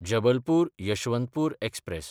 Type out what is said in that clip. जबलपूर–यशवंतपूर express